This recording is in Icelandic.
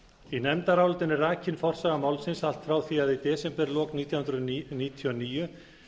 í nefndarálitinu er rakin forsaga málsins allt frá því að í desemberlok nítján hundruð níutíu og níu